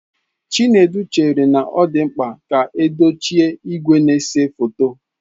Chinedu chere na ọ dị mkpa ka edochie igwe na-ese foto.